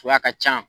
Suya ka ca